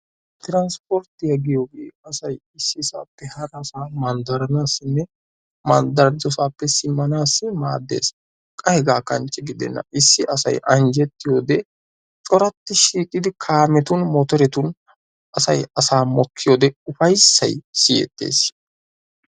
transpportiya giyoogee asay issi saappe harassaa baanawunne mandaridosappe simanawu daades. qa hegaa kanche gidenna, issi asay anjjetiyode corati shiiqidi kaametun motoretun asay asaa mokkiyode ufaysays siyettees.